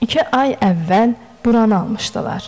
İki ay əvvəl buranı almışdılar.